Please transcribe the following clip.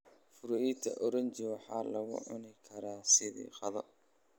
Fruita oranji waxaa lagu cuni karaa sidii qado.